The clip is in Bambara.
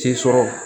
Den sɔrɔ